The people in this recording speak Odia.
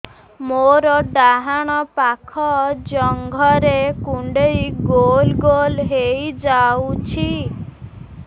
ମୋର ଡାହାଣ ପାଖ ଜଙ୍ଘରେ କୁଣ୍ଡେଇ ଗୋଲ ଗୋଲ ହେଇଯାଉଛି